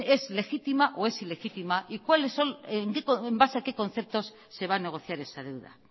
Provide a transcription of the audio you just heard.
es legítima o es ilegítima y cuáles son y en base a qué conceptos se va a negociar esa deuda